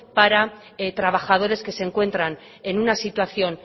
para trabajadores que se encuentran en una situación